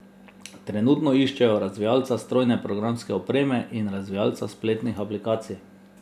Trenutno iščejo razvijalca strojne programske opreme in razvijalca spletnih aplikacij.